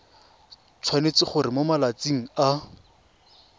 tshwanetse gore mo malatsing a